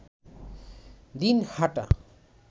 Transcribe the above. Dinhata